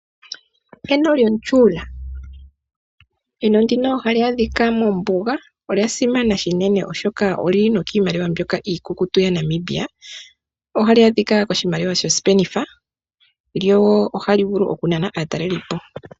Eno lyomutyuula. Eno ndika ohali adhika mombuga. Olya simana shinene oshoka olyili kiimaliwa iikukutu yaNamibia. Ohali adhika koshimaliwa shosipenitha lyo oha li vulu oku nana aatalelipo.